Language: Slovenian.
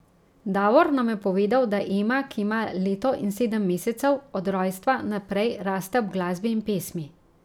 Davor nam je povedal, da Ema, ki ima leto in sedem mesecev, od rojstva naprej raste ob glasbi in pesmi.